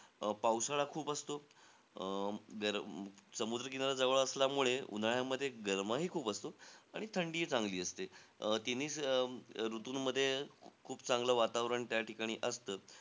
अं पावसाळा खूप असतो. अं गरम समुद्र किनारा जवळ असल्यामुळे, उन्हाळ्यामध्ये गरमाही खूप असतो आणि थंडीही चांगली असते. अं तिन्ही अं ऋतूंमध्ये खूप चांगलं वातावरण त्या ठिकाणी असतं.